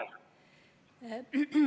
Palun!